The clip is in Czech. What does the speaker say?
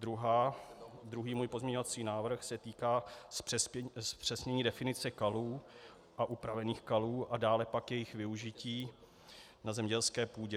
Druhý můj pozměňovací návrh se týká zpřesnění definice kalů a upravených kalů a dále pak jejich využití na zemědělské půdě.